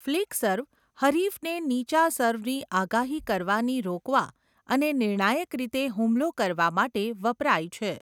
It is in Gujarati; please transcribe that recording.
ફ્લિક સર્વ હરીફને નીચા સર્વની આગાહી કરવાની રોકવા અને નિર્ણાયક રીતે હુમલો કરવા માટે વપરાય છે.